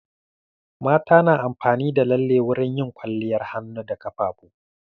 Mata na amfani da lalle wurin yin kwaliyar hannu da ƙafafu.